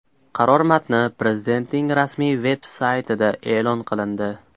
Qaror matni Prezidentning rasmiy veb-saytida e’lon qilindi .